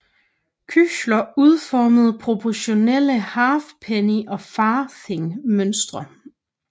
Küchler udformede proportionale halfpenny og farthing mønter